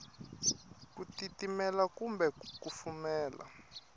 ku titimela kumbe ku kufumela